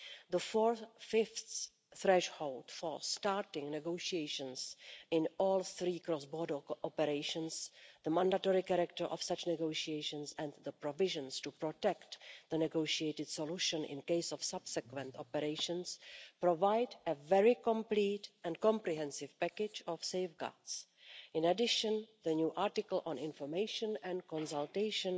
The four fifths threshold for starting negotiations in all three cross-border operations, the mandatory character of such negotiations and the provisions to protect the negotiated solution in the event of subsequent operations provide a very complete and comprehensive package of safeguards. In addition, the new article on information and consultation